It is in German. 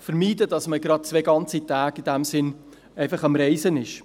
vermeiden, dass man gleich zwei ganze Tage am Reisen ist.